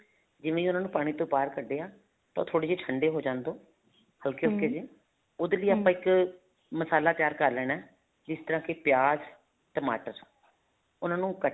ਜਿਵੇਂ ਹੀ ਉਹਨਾ ਨੂੰ ਪਾਣੀ ਤੋਂ ਬਹਾਰ ਕੱਢਿਆ ਤਾਂ ਉਹ ਥੋੜੇ ਜੇ ਠੰਡੇ ਹੋ ਜਾਣ ਦੋ ਹਲਕੇ ਹਲਕੇ ਜੇ ਉਹਦੇ ਲਈ ਇੱਕ ਮਸਾਲਾ ਤਿਆਰ ਕਰ ਲੈਣਾ ਜਿਸ ਤਰ੍ਹਾਂ ਕਿ ਪਿਆਜ਼ ਟਮਾਟਰ ਉਹਨਾ ਨੂੰ ਕੱਟ